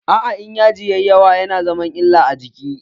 Aa, In yaji ya yi yawa ya na zama illa a jiki.